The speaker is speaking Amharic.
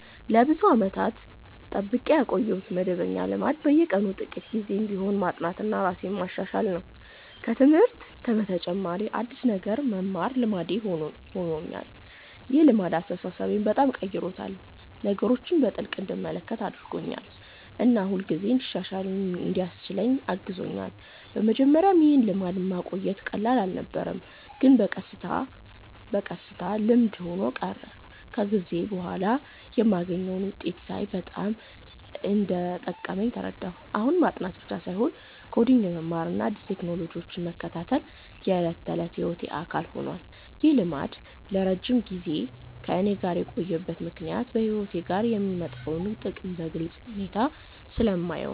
ለብዙ ዓመታት የጠብቄ ያቆየሁት መደበኛ ልማድ በየቀኑ ጥቂት ጊዜ ቢሆንም ማጥናትና ራሴን ማሻሻል ነው። ከትምህርት በተጨማሪ አዲስ ነገር መማር ልማዴ ሆኖኛል። ይህ ልማድ አስተሳሰቤን በጣም ቀይሮታል፤ ነገሮችን በጥልቅ እንድመለከት አድርጎኛል እና ሁልጊዜ እንድሻሻል እንዲያስችለኝ አግዞኛል። በመጀመሪያ ይህን ልማድ ማቆየት ቀላል አልነበረም፣ ግን በቀስታ በቀስታ ልምድ ሆኖ ቀረ። ከጊዜ በኋላ የማገኘውን ውጤት ሳይ በጣም እንደጠቀመኝ ተረዳሁ። አሁን ማጥናት ብቻ ሳይሆን ኮዲንግ መማርና አዲስ ቴክኖሎጂዎችን መከታተል የዕለት ተዕለት ሕይወቴ አካል ሆኗል። ይህ ልማድ ለረጅም ጊዜ ከእኔ ጋር የቆየው ምክንያት በሕይወቴ ላይ የሚያመጣውን ጥቅም በግልጽ ሁኔታ ስለማየው ነው።